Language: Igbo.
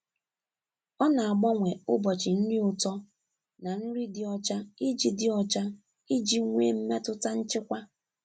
Ọ na-agbanwe ụbọchị nri ụtọ na nri dị ọcha iji dị ọcha iji nwee mmetụta nchịkwa.